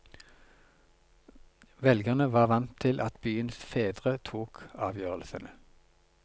Velgerne var vant til at byens fedre tok avgjørelsene.